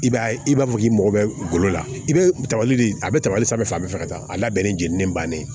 I b'a ye i b'a fɔ k'i mago bɛ golo la i be tagali de a be tabali sanfɛ fan bɛɛ fɛ ka taa a labɛn ni jenini bannen ye